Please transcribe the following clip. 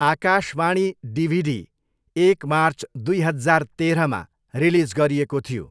Akashvani DVD एक March दुई हजार तेह्रमा रिलिज गरिएको थियो।